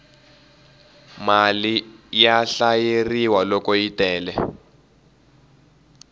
mali ya hlayeleriwa loko yi tele